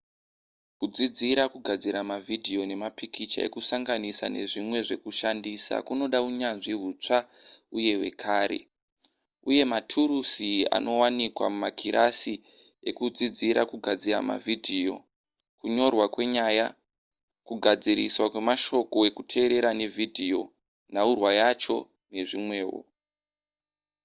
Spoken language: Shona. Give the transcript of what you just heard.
kudzidzira zvekugadzira mavhidhiyo nemapikicha ekusanganisa nezvimwe zvekushandisa kunoda unyanzvi hutsva uye hwakare uye nematurusi anowanikwa mumakirasi ekudzidzira kugadzira mavhidhiyo kunyorwa kwenyaya kugadziriswa kwemashoko ekuteerera nevhidhiyo nhaurwa yacho nezvimwewo